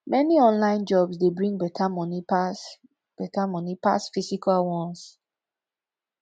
many online jobs dey bring better money pass better money pass physical ones